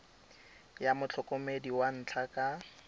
ya motlhokomedi wa ntlha ka